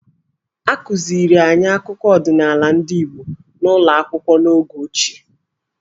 A kụziri anyị akụkọ ọdịnaala ndị Igbo n'ụlọ akwụkwọ n'oge ochie.